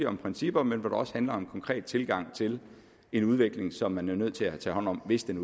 om principper men også om en konkret tilgang til en udvikling som man jo er nødt til at tage hånd om hvis den